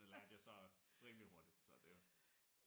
Det lærte jeg så rimelig hurtigt så det jo